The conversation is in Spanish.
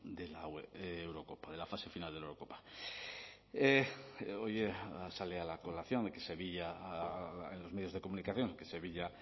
de la eurocopa de la fase final de la eurocopa hoy sale a colación de que sevilla en los medios de comunicación que sevilla